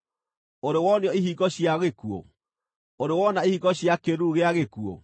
Ũrĩ wonio ihingo cia gĩkuũ? Ũrĩ wona ihingo cia kĩĩruru gĩa gĩkuũ?